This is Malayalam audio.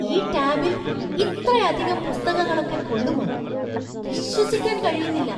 ഈ ടാബില്‍ ഇത്രയധികം പുസ്തകങ്ങളൊക്കെ കൊള്ളുമോ? വിശ്വസിക്കാൻ കഴിയുന്നില്ല!